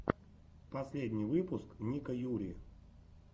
последний выпуск ника юри